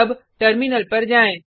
अब टर्मिनल पर जाएँ